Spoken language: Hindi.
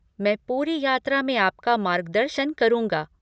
मैं पूरी यात्रा में आपका मार्गदर्शन करूँगा।